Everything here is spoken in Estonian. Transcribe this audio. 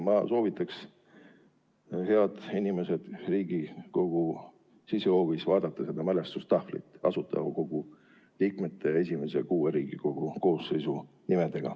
Ma soovitan teil, head inimesed, vaadata Riigikogu sisehoovis olevat mälestustahvlit, millel on Asutava Kogu liikmete ja Riigikogu esimese kuue koosseisu nimed.